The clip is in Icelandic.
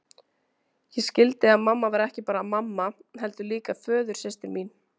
Ég skildi að mamma var ekki bara mamma, heldur líka föðursystir mín.